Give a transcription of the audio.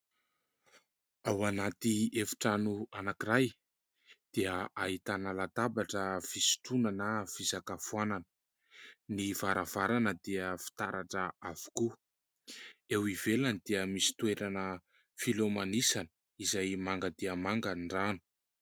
Ao anaty efitrano anankiray dia ahitana latabatra fisotroana na fisakafoanana, ny varavarana dia fitaratra avokoa, eo ivelany dia misy toerana filomanosana izay manga dia manga ny rano.